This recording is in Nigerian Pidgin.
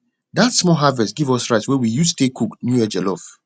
that small harvest give us rice wey we use tay cook new year jollof